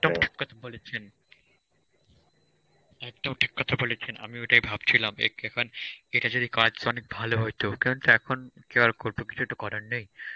একদম ঠিক কথা বলেছেন, একদম ঠিক কথা বলেছেন আমি ওটাই ভাবছিলাম এক~ এখন এটা যদি কাজ অনেক ভালো হইতো কারণ তা এখন কি আর করব কিছু তো করার নেই.